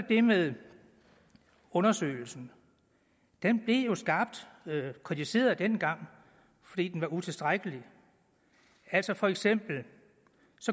det med undersøgelsen den blev skarpt kritiseret dengang fordi den var utilstrækkelig altså for eksempel